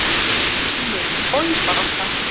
UNNUR: Oj, barasta.